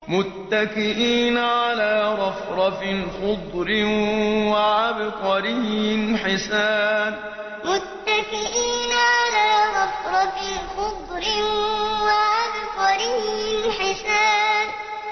مُتَّكِئِينَ عَلَىٰ رَفْرَفٍ خُضْرٍ وَعَبْقَرِيٍّ حِسَانٍ مُتَّكِئِينَ عَلَىٰ رَفْرَفٍ خُضْرٍ وَعَبْقَرِيٍّ حِسَانٍ